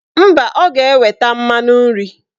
Mba, ọ ga-eweta mmanụ nri